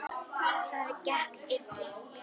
Það gekk illa.